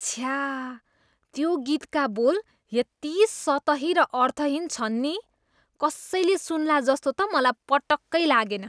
छ्या, त्यो गीतका बोल यति सतही र अर्थहीन छन् नि कसैले सुन्ला जस्तो त मलाई पटक्कै लागेन।